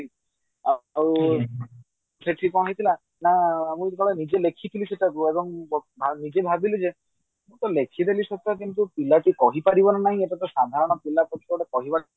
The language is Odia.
ଆଉ ସେଠୀ କଣ ହେଇଛି ନା ମୁଁ ଯେତେବେଳେ ନିଜେ ଲେଖିଥିଲି ସେଇଟାକୁ ଏବଂ ନିଜେ ଭାବିଲି ଯେ ମୁଁ ତା ଲେଖିଦେଲି ସତ କିନ୍ତୁ ପିଲା କିଏ କହି ପାରିବ କି ନା ହିଁ ଏତ ସାଧାରଣ ପିଲା ପକ୍ଷେ ଗୋଟେ କହିବା